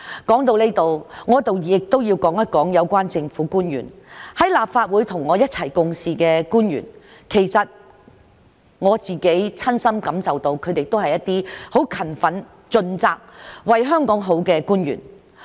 說到這裏，我要說說有關政府官員——在立法會與我一同共事的官員——其實我親身感受到他們是很勤奮盡責、為香港好的官員。